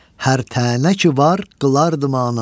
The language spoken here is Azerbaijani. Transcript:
Hər tənə ki var qılardım ona.